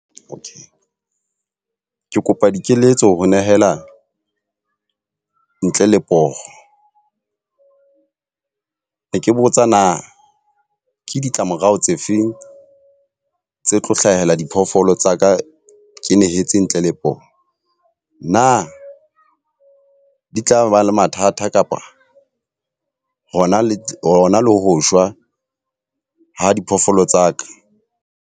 Okay. Ke kopa dikeletso ho nehelana ntle le poho. Ne ke botsa na ke ditlamorao tse feng tse tlo hlahela diphoofolo tsa ka ke nehetse ntle le poho? Na di tla ba le mathata kapa hona le hona ho shwa ha diphoofolo tsa ka?